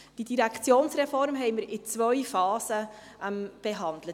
Wir haben die Direktionsreform in zwei Phasen behandelt.